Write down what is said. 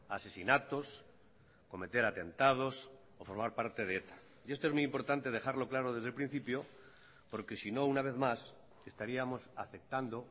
asesinatos cometer atentados o formar parte de eta y esto es muy importante dejarlo claro desde el principio porque si no una vez más estaríamos aceptando